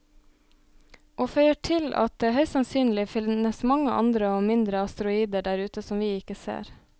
Og føyer til at det høyst sannsynlig finnes mange andre og mindre asteroider der ute som vi ikke ser.